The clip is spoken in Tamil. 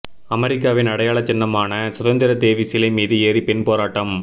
அமெரிக்காவின் அடையாள சின்னமான சுதந்திர தேவி சிலை மீது ஏறி பெண் போராட்டம்